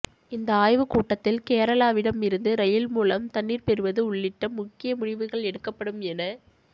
இந்த ஆய்வு கூட்டத்தில் கேரளாவிடம் இருந்து ரயில் மூலம் தண்ணீர் பெறுவது உள்ளிட்ட முக்கிய முடிவுகள் எடுக்கப்படும் என